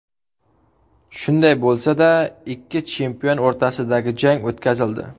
Shunday bo‘lsa-da, ikki chempion o‘rtasidagi jang o‘tkazildi.